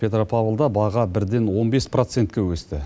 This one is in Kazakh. петропавлда баға бірден он бес процентке өсті